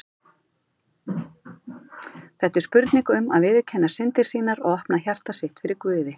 Þetta er spurning um að viðurkenna syndir sínar og opna hjarta sitt fyrir Guði.